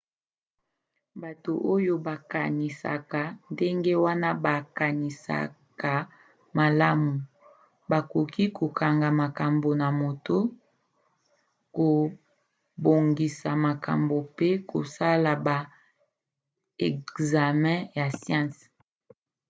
bato oyo bakanisaka ndenge wana bakanisaka malamu bakoki kokanga makambo na moto kobongisa makambo mpe kosala ba ekzame ya siansi